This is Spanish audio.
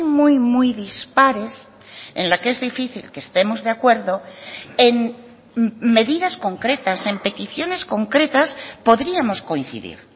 muy muy dispares en la que es difícil que estemos de acuerdo en medidas concretas en peticiones concretas podríamos coincidir